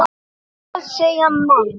Hvað segja menn?